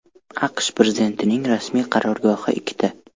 AQSH prezidentining rasmiy qarorgohi ikkita.